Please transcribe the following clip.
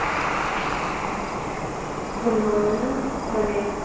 কোন মামিমা? মানে